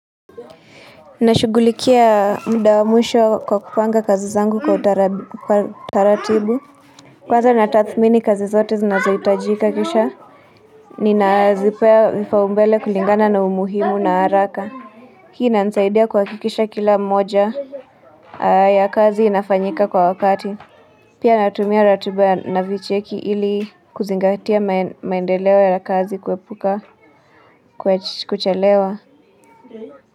Nashughulikia muda wa mwisho kwa kupanga kazi zangu kwa utaratibu. Kwaza natathmini kazi zote zinazohitajika kisha ninazipea vipaumbele kulingana na umuhimu na haraka. Hii inanisaidia kuhakikisha kila mmoja ya kazi inafanyika kwa wakati. Pia natumia ratiba na vicheki ili kuzingatia maendeleo ya kazi kuepuka kuchelewa.